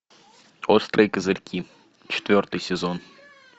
острые козырьки четвертый сезон